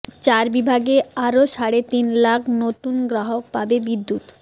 চার বিভাগে আরো সাড়ে তিন লাখ নতুন গ্রাহক পাবে বিদ্যুৎ